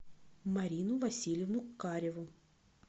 марину васильевну кареву